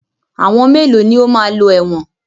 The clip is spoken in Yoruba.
Àwọn mélòó ní o máa lọ ẹ̀wọ̀n?